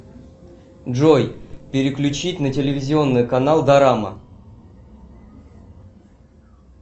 джой переключить на телевизионный канал дорама